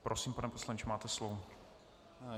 Prosím, pane poslanče, máte slovo.